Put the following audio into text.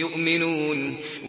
يُؤْمِنُونَ